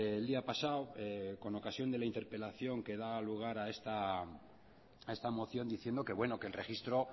el día pasado con ocasión de la interpelación que da lugar a esta moción diciendo que bueno que el registro